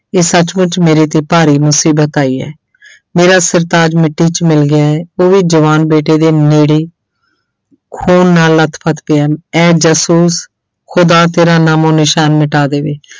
ਇਹ ਸੱਚਮੁੱਚ ਮੇਰੇ ਤੇ ਭਾਰੀ ਮੁਸੀਬਤ ਆਈ ਹੇ ਮੇਰਾ ਸਰਤਾਜ ਮਿੱਟੀ 'ਚ ਮਿਲ ਗਿਆ ਹੈ ਉਹ ਵੀ ਜਵਾਨ ਬੇਟੇ ਦੇ ਨੇੜੇ ਹੀ ਖੂਨ ਨਾਲ ਲੱਥ ਪੱਥ ਪਿਆ, ਐ ਜਾਸੂਸ ਖੁੱਦਾ ਤੇਰਾ ਨਾਮੋ ਨਿਸ਼ਾਨ ਮਿਟਾ ਦੇਵੇ।